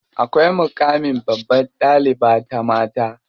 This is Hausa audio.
Akwai muƙamin babbar ɗaliba ta mata.